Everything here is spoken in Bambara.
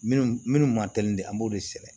Minnu ma teli de an b'o de sɛnɛ